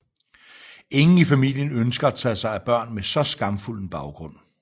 Ingen i familien ønsker at tage sig af børn med så skamfuld en baggrund